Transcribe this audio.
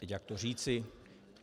Teď jak to říci...?